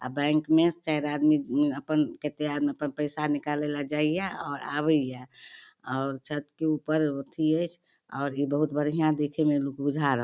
आ बैंक में चार आदमी अपन कते आदमी अपन पैसा निकाले ले जाय ये और आवे ये और छत के ऊपर अथी ऐच्छ और इ बहुत बढ़िया देखे में इ लुक बुझा रहल --